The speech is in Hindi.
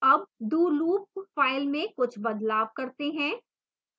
अब do loop file में कुछ बदलाव करते हैं